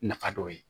Nafa dɔ ye